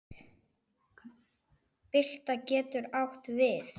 Bylta getur átt við